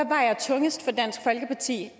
vejer tungest for dansk folkeparti